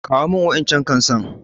Kawo min waƴancan kan san.